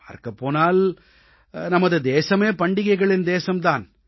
பார்க்கப் போனால் நமது தேசமே பண்டிகளைகளின் தேசம் தான்